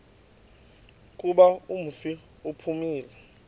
kuba umfi uphumile